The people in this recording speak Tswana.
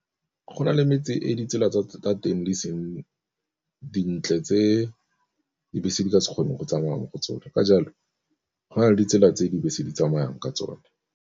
Go na le metse e ditsela tsa tsa teng di seng dintle tse dibese di ka se kgone go tsamaya mo go tsone, ka jalo go na le ditsela tse dibese di tsamayang ka tsone.